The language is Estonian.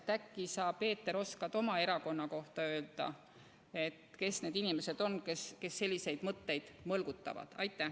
Äkki sa, Peeter, oskad oma erakonna kohta öelda, kes need inimesed on, kes selliseid mõtteid mõlgutavad?